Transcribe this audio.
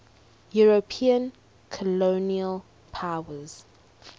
european colonial powers